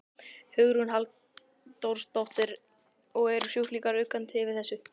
Hugrún Halldórsdóttir: Og eru sjúklingar uggandi yfir þessu?